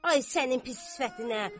Ay sənin pis sifətinə.